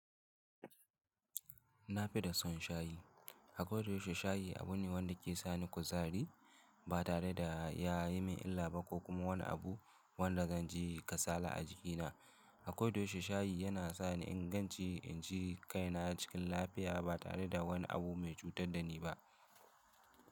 Na fi da son shayi. Akwai da yaushe shayi abu ne wanda ke sani kuzari ba tare da ya yi min illa ba ko kuma wani abu wanda zan ji kasala a jikina. Akwai da yaushe shayi yana sa ni in ganci, in ji kaina cikin lafiya ba tare da wani abu mai cutar da ni ba.